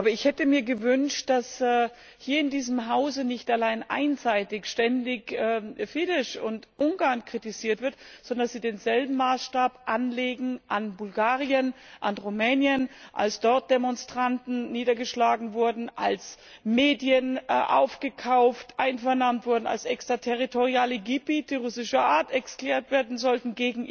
Aber ich hätte mir gewünscht, dass hier in diesem Hause nicht allein einseitig ständig Fidesz und Ungarn kritisiert werden, sondern dass Sie denselben Maßstab anlegen an Bulgarien, an Rumänien, als dort Demonstranten niedergeschlagen wurden, als Medien aufgekauft und einvernahmt wurden, als gegen EU Recht extraterritoriale Gebiete russischer Art erklärt werden sollten.